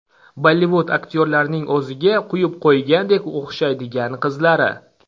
Bollivud aktyorlarining o‘ziga quyib qo‘ygandek o‘xshaydigan qizlari .